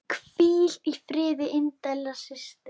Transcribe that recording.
Hvíl í friði indæl systir.